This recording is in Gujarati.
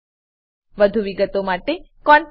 વધુ વિગતો માટે કૃપા કરી contactspoken tutorialorg પર લખો